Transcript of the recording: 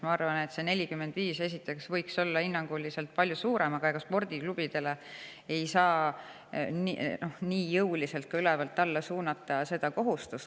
Ma arvan ka, et see tasu võiks olla palju suurem kui 45, aga ega spordiklubidele ei saa seda kohustust jõuliselt ülevalt alla suunata.